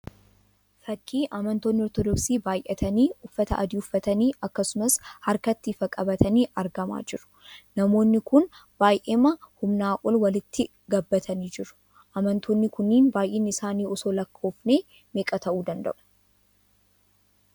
Fakkii amantoonni Ortodoksii baayyatanii uffata adii uffatanii akkasumas harkatti ifaa qabatanii argamaa jiru. Namoonni kun baayyeema humnaa ol walitti gobbatanii jiru. Amantoonni kunniin baayyinni isaanii osoo lakkoofnee meeqa ta'uu danda'uu?